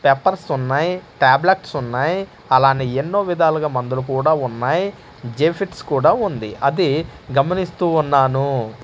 పెపార్స్ ఉన్నాయ్ టాబ్లెట్స్ ఉన్నాయ్ అలానే ఎన్నో విధాలుగా మందులు కుడా ఉన్నాయ్ జే ఫిట్స్ కుడా ఉంది అది గమనిస్తూ ఉన్నాను.